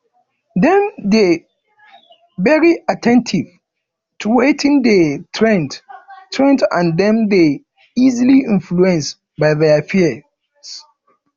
dem dey very at ten tive to wetin de trend trend and dem dey easily influence by their peers